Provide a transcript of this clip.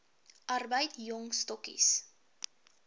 arbeid jong stokkies